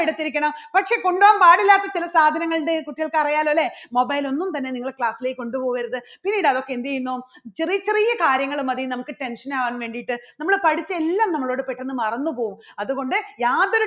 എടുത്തിരിക്കണം പക്ഷേ കൊണ്ടുപോകാൻ പാടില്ലാത്ത ചില സാധനങ്ങളുണ്ട് കുട്ടികൾക്ക് അറിയാലോ അല്ലേ mobile ഒന്നും തന്നെ നിങ്ങൾ class ലേക്ക് കൊണ്ടുപോകരുത്. പിന്നീട് അതൊക്കെ എന്ത് ചെയ്യുന്നു ചെറിയ ചെറിയ കാര്യങ്ങൾ മതി നമുക്ക് tension ആകാൻ വേണ്ടിയിട്ട് നമ്മള് പഠിച്ച എല്ലാം നമ്മള് പെട്ടെന്ന് മറന്നു പോകും. അതുകൊണ്ട് യാതൊരു